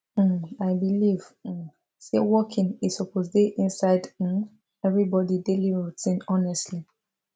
um i believe um say walking e suppose dey inside um everybody daily routine honestly